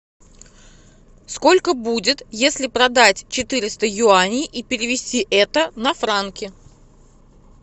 сколько будет если продать четыреста юаней и перевести это на франки